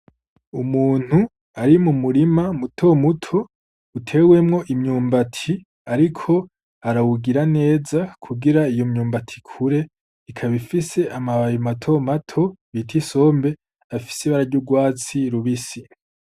Umuntu ari mu murima muto muto utewemwo imyumbati ariko arawugira neza kugir iyo myumbati iyo myumbati ikure ikab'ifis'amababi mato mato bita isombe afis' ibara ry 'urwatsi rubisi.